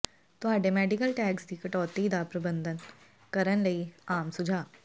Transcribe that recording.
ਤੁਹਾਡੇ medical tax ਦੀ ਕਟੌਤੀ ਦਾ ਪ੍ਰਬੰਧਨ ਕਰਨ ਲਈ ਆਮ ਸੁਝਾਅ